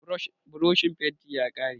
burishin fenti ya karye